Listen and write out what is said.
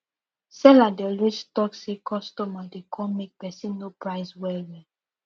seller dey always talk say customer dey come make person no price well well